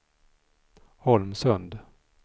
Holmsund